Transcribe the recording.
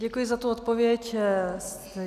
Děkuji za tu odpověď.